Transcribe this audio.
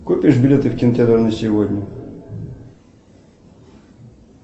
купишь билеты в кинотеатр на сегодня